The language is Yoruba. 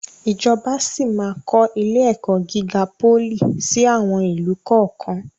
Ìjọba síí máa kọ ilé-ẹ̀kọ́ gíga pólì síí àwọn ìlú kọ̀ọ̀kan.